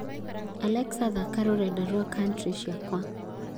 alexa thaaka rũrenda rwa country ciakwa